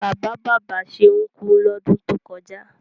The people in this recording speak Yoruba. Bàbá bàbá Ṣeun kú lọ́dún tó kọjá.